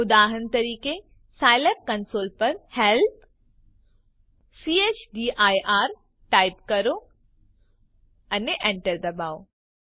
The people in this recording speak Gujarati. ઉદાહરણ તરીકે સાયલેબ કંસોલ પર હેલ્પ ચદીર ટાઈપ કરો અને enter દબાવો